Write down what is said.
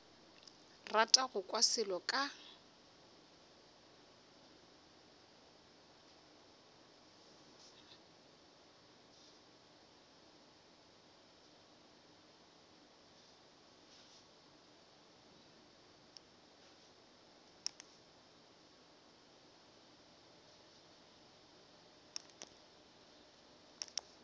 rata go kwa selo ka